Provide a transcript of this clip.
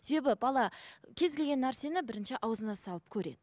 себебі бала кез келген нәрсені бірінші аузына салып көреді